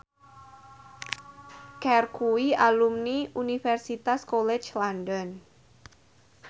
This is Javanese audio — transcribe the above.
Cher kuwi alumni Universitas College London